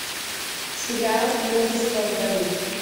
сериал мужество в бою